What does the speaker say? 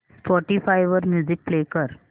Spotify वर music play कर